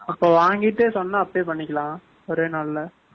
அப்ப வாங்கிட்டு சொன்னா, apply பண்ணிக்கலாம். ஒரே நாள்ல